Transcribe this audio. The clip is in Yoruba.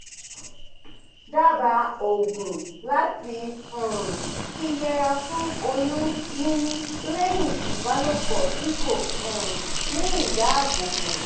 daba oogun lati um fi yera fun oyun nini leyin ibalopo ti ko um ni idabobo